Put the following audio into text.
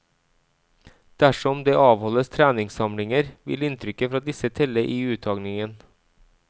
Dersom det avholdes treningssamlinger, vil inntrykket fra disse telle i uttagningen.